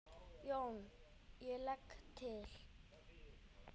JÓN: Ég legg til.